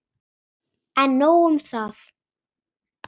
En nóg um það.